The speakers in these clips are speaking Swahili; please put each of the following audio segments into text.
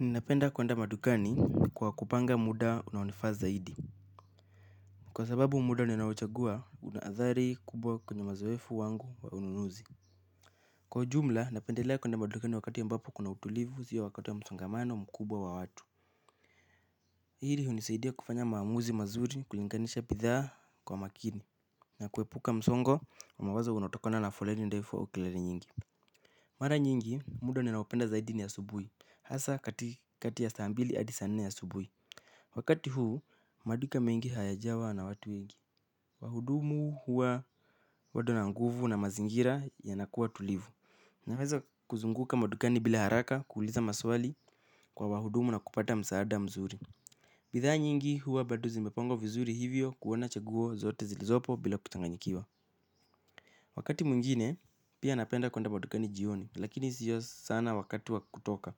Ninapenda kuenda madugani kwa kupanga muda unawonifaa zaidi. Kwa sababu muda ninawochagua unadari kubwa kwenye mazowefu wangu wa ununuzi. Kwa ujumla napendelea kuenda madugani wakati yambapo kuna utulivu ziyo wakati ya msongamano mkubwa wa watu. Hiri unisaidia kufanya maamuzi mazuri kulinganisha bidhaa kwa makini. Na kuwepuka msongo wa mawazo unatokona na foleni ndefu au kelele nyingi. Mara nyingi muda ninaopenda zaidi ni asubuhi hasa kati kati ya saambili adi saa nne ya subuhi. Wakati huu maduka mengi hayajawa na watu wengi. Wahudumu huwa badona nguvu na mazingira yanakuwa tulivu. Naweza kuzunguka madukani bila haraka kuuliza maswali kwa wahudumu na kupata msaada mzuri. Bidhaa nyingi huwa bado zimepangwa vizuri hivyo kuona chaguo zote zilizopo bila kuchanganyikiwa. Wakati mwingine pia napenda kuenda madukani jioni lakini sio sana wakati wa kutoka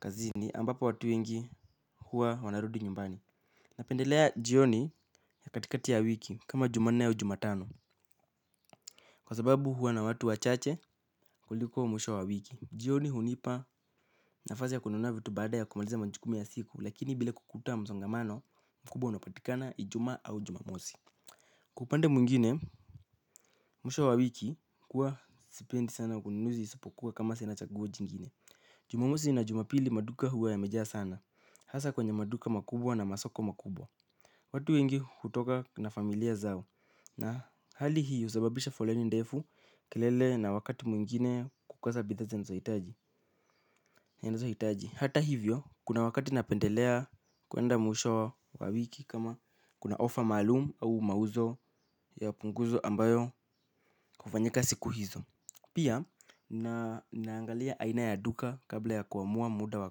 kazini ambapo watu wengi huwa wanarudi nyumbani. Napendelea jioni ya katikati ya wiki kama jumanne au jumatano. Kwa sababu huwa na watu wachache kuliko mwisho wa wiki. Jioni hunipa nafazi ya kununavitu baada ya kumaliza manjukumi ya siku. Lakini bila kukuta mzongamano mkubwa unapatikana ijuma au jumamosi. Kwa upande mwingine, mwisho wa wiki kuwa sipendi sana kununuzi isapokuwa kama sinachaguo jingine. Jumamosi na jumapili maduka huwa ya mejaa sana hasa kwenye maduka makubwa na masoko makubwa watu wengi hutoka na familia zao na hali hii usababisha foleni ndefu kelele na wakati mwingine kukosa bidhaa zinazohitaji hitaji. Hata hivyo kuna wakati napendelea kuenda mwisho wa wiki kama kuna ofa malumu au mauzo ya punguzo ambayo kufanyika siku hizo. Pia naangalia ainaya duka kabla ya kuamua muda wa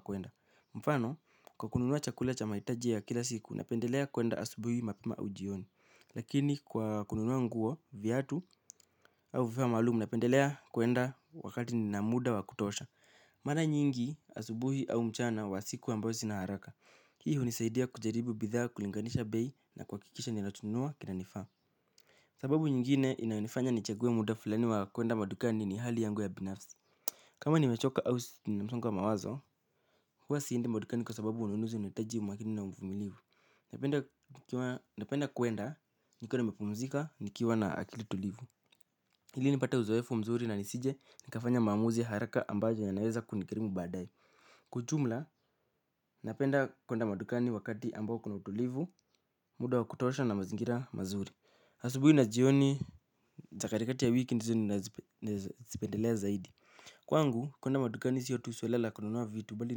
kuenda. Mfano kwa kununua chakula cha maitaji ya kila siku napendelea kuenda asubuhi mapema au jioni. Lakini kwa kununua nguo viatu au vifaa malumu napendelea kuenda wakati nina muda wa kutosha. Mara nyingi asubuhi au mchana wa siku ambao sina haraka. Hii hunisaidia kujaribu bidhaa kulinganisha bei na kuhakikisha ninachonunua kinanifaa. Sababu nyingine inayonifanya ni chague muda fulani wa kuenda madukani ni hali yangu ya binafsi. Kama ni mechoka au ninamsongo wa mawazo, huwa siindi madukani kwa sababu ununuzi unahitaji umakini na ufumilivu. Napenda kuwenda nikiwa nimepumzika nikiwa na akili tulivu. Hili nipate uzoefu mzuri na nisije nikafanya maamuzi haraka ambayo ya naweza kunigarimu baadae kwa ujumla napenda kwenda madukani wakati ambao kuna utulivu muda wakutoosha na mazingira mazuri asubuhi na jioni zakatikati ya wiki ndizo nazipendelea zaidi. Kwa ngu kuenda madukani siyotu suala la kununua vitu bali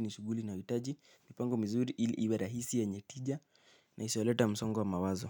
nishuguli inayohitaji mipango mzuri ili iwerahisi yenye tija na isoleta msongo wa mawazo.